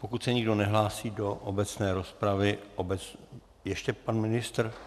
Pokud se nikdo nehlásí do obecné rozpravy - ještě pan ministr?